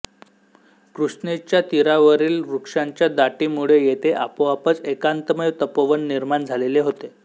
कृष्णेच्या तीरावरील वृक्षांच्या दाटीमुळे येथे आपोआपच एकांतमय तपोवन निर्माण झालेले होते